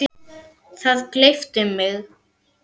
Það gleypti mig.